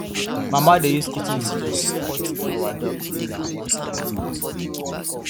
mama dey use kitchen scissors cut our dog finger once every month